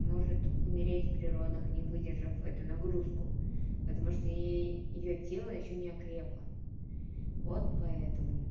может умереть при родах не выдержав эту нагрузку потому что ей её тело ещё не окрепло вот поэтому